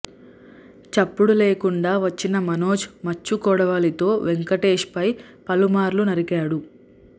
చప్పుడు లేకుండా వచ్చిన మనోజ్ మచ్చు కొడవలితో వెంకటేష్పై పలుమార్లు నరికాడు